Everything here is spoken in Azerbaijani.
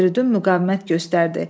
Firidun müqavimət göstərdi.